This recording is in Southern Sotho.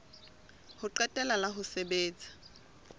ho qetela la ho sebetsa